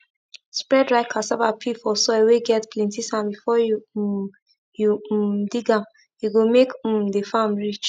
spread dry cassava peel for soil whey get plenty sand before you um you um dig amhe go make um the farm rich